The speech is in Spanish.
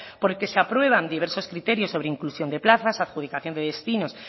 por el que se aprueban diversos criterios sobre inclusión de plazas adjudicación de destinos